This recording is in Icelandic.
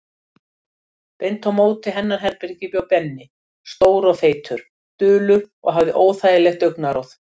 Beint á móti hennar herbergi bjó Benni, stór og feitur, dulur og hafði óþægilegt augnaráð.